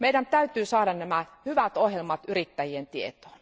Meidän täytyy saada nämä hyvät ohjelmat yrittäjien tietoon.